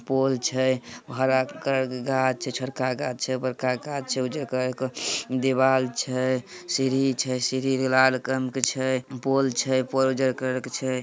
पोल छे हरा कलर का गाछ छे। छोटका गाछ छे बड़का घास छे। उजर कलर के दीवाल छे। सीढ़ी छे सीढ़ी भी लाल कलर के छे। पोल छे पोल उजर कलर के छे।